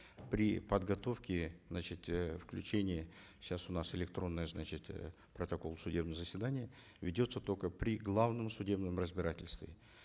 при подготовке значит э включение сейчас у нас электронный значит э протокол судебного заседания ведется только при главном судебном разбирательстве